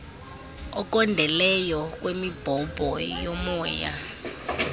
okondeleyo kwemibhobho yomoya